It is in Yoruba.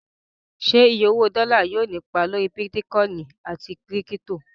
Ṣé iye owó dọ́là yóò ní ipa lórí bítíkọìnì àti kírípítò?